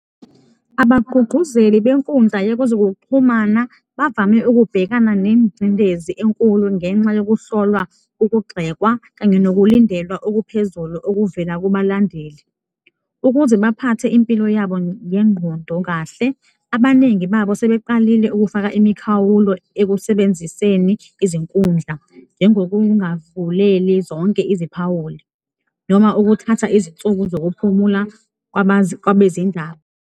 Abagqugquzeli benkundla yekuzokuxhumana bavame ukubhekana nengcindezi enkulu ngenxa yokuhlolwa, ukugxekwa kanye nokulindelwa okuphezulu okuvela kubalandeli. Ukuze baphathe impilo yabo ngengqondo kahle, abaningi babo sebeqalile ukufaka imikhawulo ekusebenziseni izinkundla, njengokungavuleli zonke iziphawuli noma ukuthatha izinsuku zokuphumula kwabezindaba.